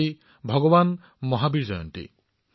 আজি ভগৱান মহাবীৰৰ জয়ন্তীও